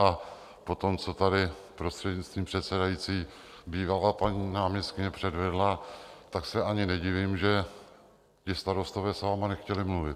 A po tom, co tady, prostřednictvím předsedající, bývalá paní náměstkyně předvedla, tak se ani nedivím, že ti starostové s vámi nechtěli mluvit.